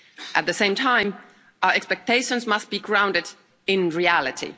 At the same time, our expectations must be grounded in reality.